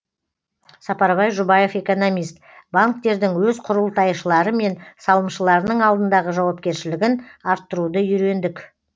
сапарбай жұбаев экономист банктердің өз құрылтайшылары мен салымшыларының алдындағы жауапкершілігін арттыруды үйрендік